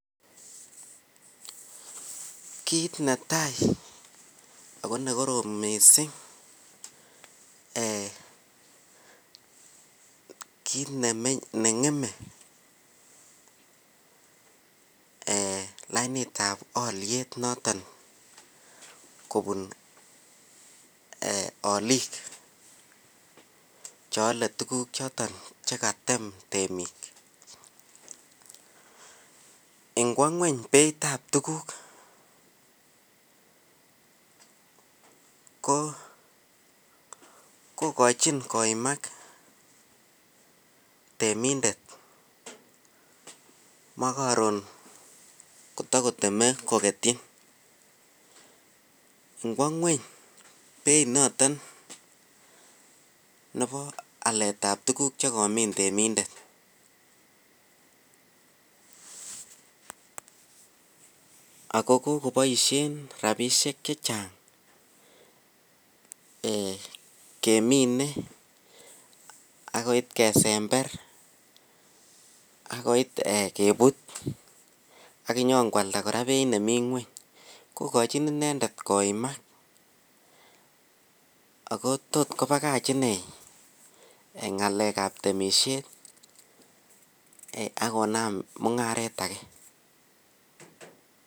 Kit netai ago ne koroom mising eeh kit neng'eme lainit ab olyet noton kobun olik che ole tuguk choton che katem temik, ingwo ngweny beit ab tuguk ko kogochin koimak temindet mokoron kotokoteme kogetyin. Ngwo ng'weny beit noton nebo alet ab tuguk che komin temindet ago kogoboisien rabisiek che chang kimine ak koit kesember, ak koit kebut, ak inyokoalda kora beit nemi ng'weny kogochin inendet koimak ago tot kobakach ine ngalekab temisiet ak konam mung'aret age.